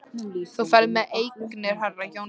Þú ferð með eignir herra Jóns Arasonar.